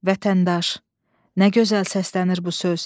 Vətəndaş, nə gözəl səslənir bu söz.